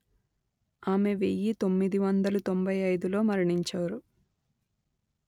ఆమె వెయ్యి తొమ్మిది వందలు తొంభై అయిదు లో మరణించారు